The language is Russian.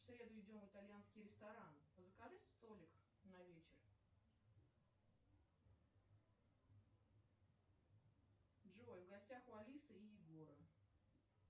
в среду идем в итальянский ресторан закажи столик на вечер джой в гостях у алисы и егора